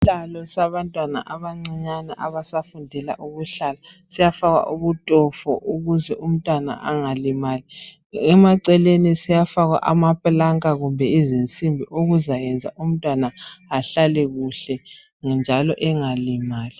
isihlalo sabantwana abancinyane abasafundela ukuhlala siyafakwa ubutofo ukuze umntwana angalimali emaceleni siyafakwa amaplanka kumbe izinsimbi ukuzayenza umntwana ahlale kuhle njalo engalimali